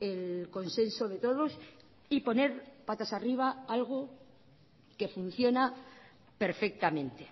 el consenso de todos y poner patas arriba algo que funciona perfectamente